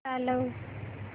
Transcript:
चालव